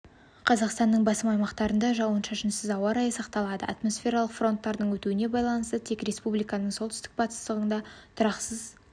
қазақстанның басым аймақтарында жауын-шашынсыз ауа райы сақталады атмосфералық фронттардың өтуіне байланысты тек республиканың солтүстігінде батысында тұрақсыз